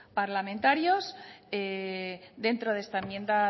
parlamentarios dentro de esta enmienda